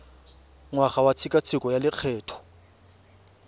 ngwaga wa tshekatsheko ya lokgetho